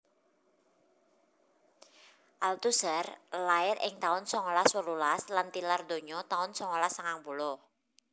Althusser lair ing taun songolas wolulas lan tilar donya taun songolas sangang puluh